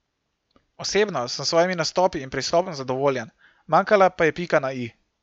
Osebno sem s svojimi nastopi in pristopom zadovoljen, manjkala pa je pika na i.